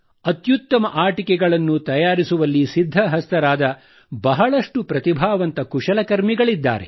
ಅತ್ಯುತ್ತಮ ಆಟಿಕೆಗಳನ್ನು ತಯಾರಿಸುವಲ್ಲಿ ಸಿದ್ಧಹಸ್ತರಾದ ಬಹಳಷ್ಟು ಪ್ರತಿಭಾವಂತ ಕುಶಲಕರ್ಮಿಗಳಿದ್ದಾರೆ